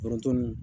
Foronto ni